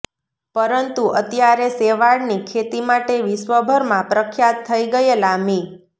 પરંતુ અત્યારે શેવાળની ખેતી માટે વિશ્વભરમાં પ્રખ્યાત થઇ ગયેલા મિ